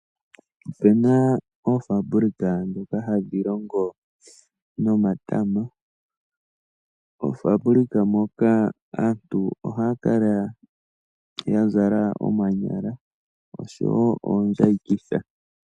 Ope na oofabulika ndhoka hadhi longo nomatama. Moofaabulika moka aantu ohaya kala ya zala omanyala osho wo oombayikitha.